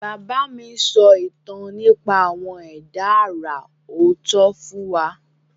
Bàbá mi ń sọ ìtàn nípa àwọn ẹ̀dá àrà ọ̀tọ̀ fún wa.